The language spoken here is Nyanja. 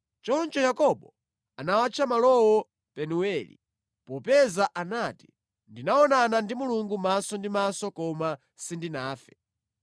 Choncho Yakobo anawatcha malowo Penueli, popeza anati, “Ndinaonana ndi Mulungu maso ndi maso koma sindinafe.”